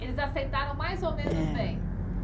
Eles aceitaram mais ou menos É Bem?